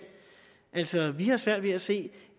vi har altså svært ved at se